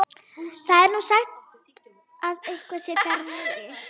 Það er nú sagt að eitthvað sé þar niðri.